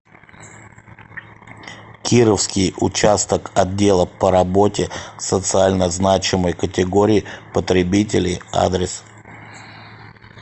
кировский участок отдела по работе с социально значимой категорией потребителей адрес